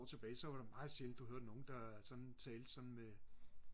tilbage så var det meget sjældent du hørte nogle der sådan talte sådan øh